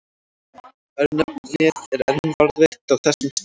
Örnefnið er enn varðveitt á þessum stað.